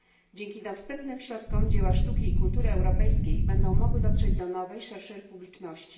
Dzięki dostępnym środkom dzieła sztuki i kultury europejskiej będą mogły dotrzeć do nowej, szerszej publiczności.